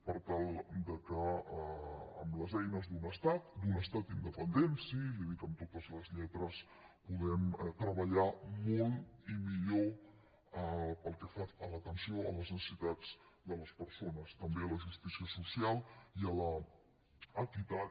per tal que amb les eines d’un estat d’un estat indepen dent sí li ho dic amb totes les lletres puguem treballar molt i millor pel que fa a l’atenció a les necessitats de les persones també a la justícia social i a l’equitat